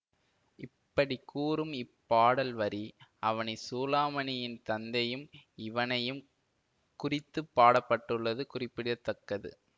இப்படிக்கூறும் இப்பாடல் வரி அவனி சூளாமணியின் தந்தையும் இவனையும் குறித்து பாடப்பட்டுள்ளது குறிப்பிட தக்கது